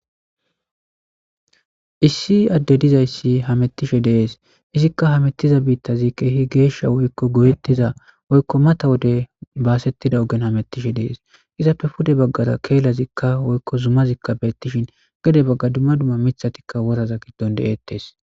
Issi adde dizayssi hamettishe dees izikka hametiza biittazi keehi geeshsha woykko goyettiza woykko mata wode baasettida ogen hamettishe dees izappe pude baggara keelazikka woykko zumazikka beettishin gede bagga dumma duma mithatikka woraza giddon deettes.